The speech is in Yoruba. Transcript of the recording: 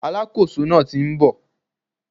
Alákóso náà ti n bò